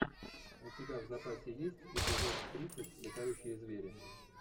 у тебя в запасе есть эпизод тридцать летающие звери